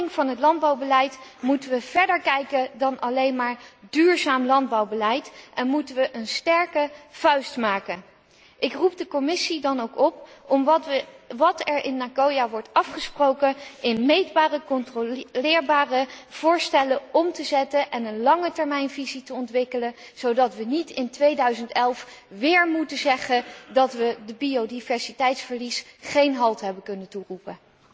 Bij de hervorming van het landbouwbeleid moeten we verder kijken dan alleen maar duurzaam landbouwbeleid en moeten we een sterke vuist maken. Ik roep de Commissie dan ook op om wat er in Nagoya wordt afgesproken in meetbare, controleerbare voorstellen om te zetten en een langetermijnvisie te ontwikkelen, zodat we in 2011 niet weer moeten zeggen dat we het biodiversiteitverlies geen halt hebben kunnen toeroepen.